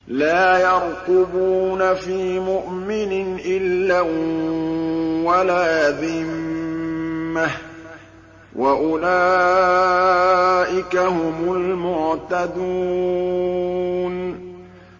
لَا يَرْقُبُونَ فِي مُؤْمِنٍ إِلًّا وَلَا ذِمَّةً ۚ وَأُولَٰئِكَ هُمُ الْمُعْتَدُونَ